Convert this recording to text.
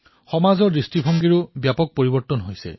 সমাজৰ দৃষ্টিভংগীও ব্যাপক ৰূপত পৰিৱৰ্তন হৈছে